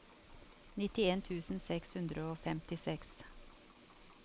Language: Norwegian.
nitten tusen seks hundre og femtiseks